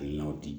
Hakilinaw di